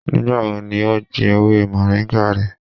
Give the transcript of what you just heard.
Nigbawo ni o gbin ewe moringa rẹ?